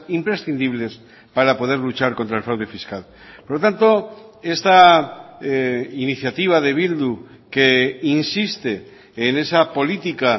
imprescindibles para poder luchar contra el fraude fiscal por lo tanto esta iniciativa de bildu que insiste en esa política